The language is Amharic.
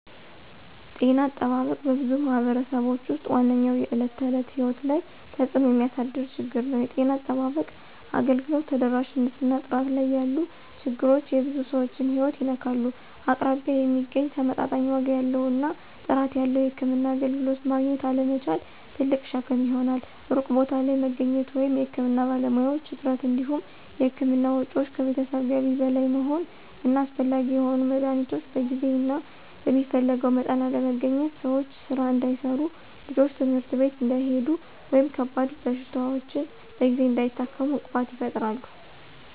ጤና አጠባበቅ በብዙ ማኅበረሰቦች ውስጥ ዋነኛው የዕለት ተዕለት ሕይወት ላይ ተጽእኖ የሚያሳድር ችግር ነው። የጤና አጠባበቅ አገልግሎት ተደራሽነት እና ጥራት ላይ ያሉ ችግሮች የብዙ ሰዎችን ሕይወት ይነካሉ። አቅራቢያ የሚገኝ፣ ተመጣጣኝ ዋጋ ያለው እና ጥራት ያለው የሕክምና አገልግሎት ማግኘት አለመቻል ትልቅ ሸክም ይሆናል። ሩቅ ቦታ ላይ መገኘት ወይም የሕክምና ባለሙያዎች እጥረት እንዲሁም የሕክምና ወጪዎች ከቤተሰብ ገቢ በላይ መሆን እና አስፈላጊ የሆኑ መድኃኒቶች በጊዜ እና በሚፈለገው መጠን አለመገኘት ሰዎች ሥራ እንዳይሠሩ፣ ልጆች ትምህርት ቤት እንዳይሄዱ ወይም ከባድ በሽታዎችን በጊዜ እንዳይታከሙ እንቅፋት ይፈጥራሉ።